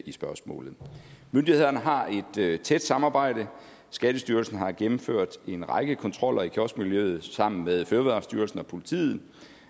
i spørgsmålet myndighederne har et tæt samarbejde skattestyrelsen har gennemført en række kontroller i kioskmiljøet sammen med fødevarestyrelsen og politiet